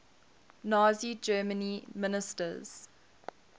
nazi germany ministers